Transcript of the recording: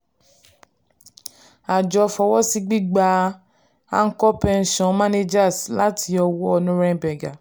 àjọ fọwọ́sí gbígba anchor pension managers láti ọwọ́ norrenberger.